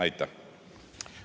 Aitäh!